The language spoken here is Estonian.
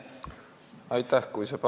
Aitäh!